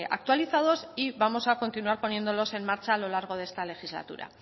actualizados y vamos a continuar poniéndolos en marcha a lo largo de esta legislatura